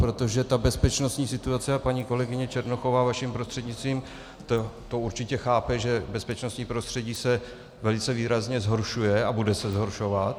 Protože ta bezpečnostní situace, a paní kolegyně Černochová vaším prostřednictvím to určitě chápe, že bezpečnostní prostředí se velice výrazně zhoršuje a bude se zhoršovat.